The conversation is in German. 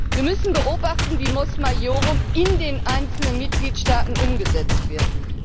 Wir müssen beobachten, wie Mos Maiorum in den einzelnen Mitgliedstaaten umgesetzt wird.